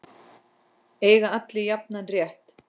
Eiga allir jafnan rétt?